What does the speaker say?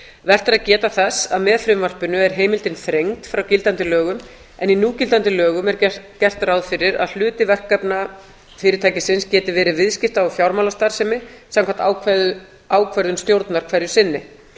vert er að geta þess að með frumvarpinu er heimildin þrengd frá gildandi lögum en í núgildandi lögum er gert ráð fyrir að hluti verkefna fyrirtækisins geti verið viðskipta og fjármálastarfsemi samkvæmt ákvörðun stjórnar hverju sinni